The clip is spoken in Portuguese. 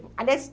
Aliás,